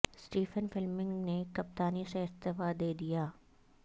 Stephen Fleming نے کپتانی سے استعفی دے دیا ہے